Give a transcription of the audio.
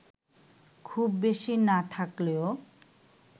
খুব বেশি না থাকলেও